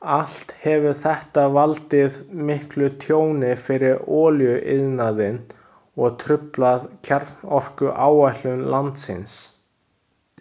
Allt hefur þetta valdið miklu tjóni fyrir olíuiðnaðinn og truflað kjarnorkuáætlun landsins.